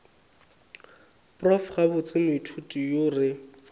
prof gabotse moithuti yo re